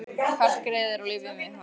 Karlgreyið er á lyfjum við honum